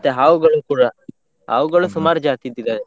ಮತ್ತೆ ಹಾವುಗಳು ಕೂಡ, ಹಾವುಗಳು ಸುಮಾರ್ ಜಾತಿದ್ದು ಇದ್ದವೆ.